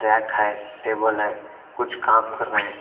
Take है table है कुछ काम क्र रहे है।